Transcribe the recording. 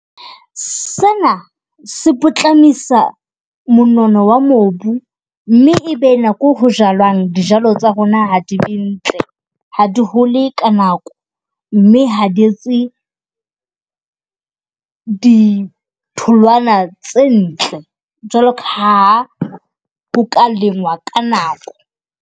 Sena se potlamisa monono wa mobu. Mme ebe nako ho jalwang dijalo tsa rona ha di be ntle, ha di hole ka nako. Mme ha di etse ditholwana tse ntle jwaloka ha ho ka lengwa ka nako.